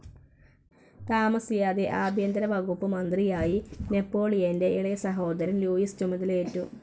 താമസിയാതെ ആഭ്യന്തരവകുപ്പ് മന്ത്രിയായി നെപ്പോളിയൻ്റെ ഇളയസഹോദരൻ ലൂയിസ് ചുമതലയേറ്റു.